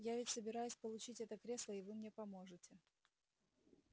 я ведь собираюсь получить это кресло и вы мне поможете